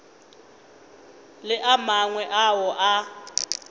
le a mangwe ao a